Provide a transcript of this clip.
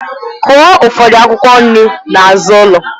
Kụọ ụfọdụ akwụkwọ nri n'azụ ụlọ!